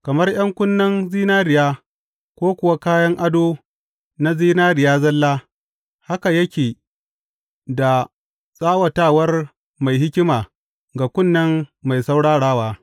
Kamar ’yan kunnen zinariya ko kuwa kayan ado na zinariya zalla haka yake da tsawatawar mai hikima ga kunne mai saurarawa.